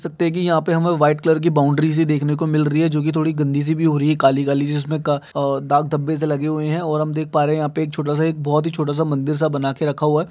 सत्तेकी यहाँ पे हमें वाइट कलर की बाउंड्री सी दिख ने को मिल रही है जोकि थड़ी सी गनदी सी भी हो रही है काली-काली सी जिसमे क अअ दाग धब्बे से लगे हुई है और हम देख पा रहे एक छोटा सा एक बहोत ही छोटा सा मंदिर बना के रखा हुआ हैं।